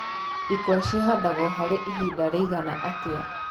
ĩkũa cĩhandagwo harĩ ihinda rĩigana atĩa